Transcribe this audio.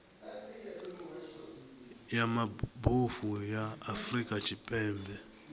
ya mabofu ya afrika tshipembe